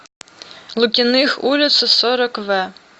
лукиных улицу сорок в